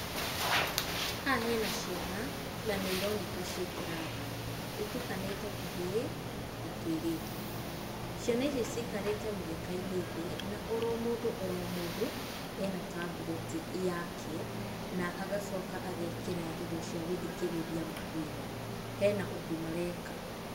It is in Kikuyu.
Haha hena ciana na nĩ ironeka ciĩ kĩrathi, itukanĩte tũhĩĩ na tũirĩtu. Ciana ici cikarĩte mũgeka-inĩ thĩĩ, na oro mũndũ oro mũndũ ena tablet yake, na agacoka agekĩra indo cia gũthikĩrĩria matũ-inĩ, hena ũndũ mareka.